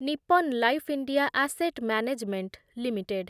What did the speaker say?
Nippon life India asset management limited